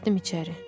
Keçdim içəri.